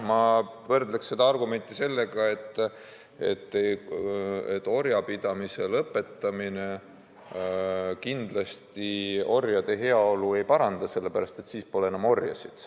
Ma võrdleksin seda argumenti väitega, et orjapidamise lõpetamine kindlasti orjade heaolu ei paranda, sellepärast et siis pole enam orjasid.